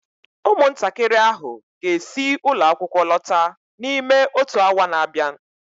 ụmụntakịrị ahụ ga-esi ụlọ akwụkwọ lọta n'ime otu awa na-abịa